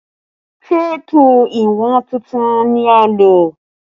Téèpù ìwọ̀n tuntun ni a lò